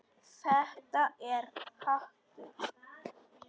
Þetta er hatur.